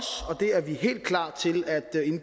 det er vi helt klar til at